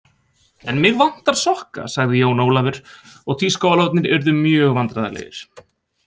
En mig vantar sokka sagði Jón Ólafur og tískuálfarnir urðu mjög vandræðalegir.